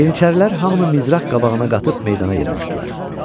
Yeniçərilər hamını mizraq qabağına qatıb meydana yığmışdılar.